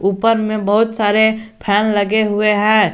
ऊपर मे बहुत सारे फैन लगे हुए है।